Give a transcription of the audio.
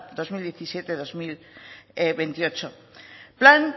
bi mila hamazazpi bi mila hogeita zortzi plan